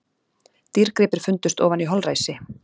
Dýrgripir fundust ofan í holræsi